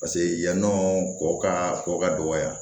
Paseke yannɔ kɔ ka kɔkɔ ka dɔgɔya